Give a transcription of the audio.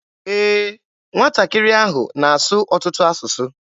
Ee, nwatakịrị ahụ na-asụ ọtụtụ asụsụ.